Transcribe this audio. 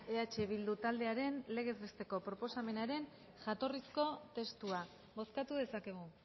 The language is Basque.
eh bildu taldearen legez besteko proposamenaren jatorrizko testua bozkatu dezakegu